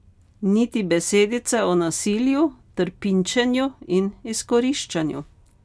Niti besedice o nasilju, trpinčenju in izkoriščanju.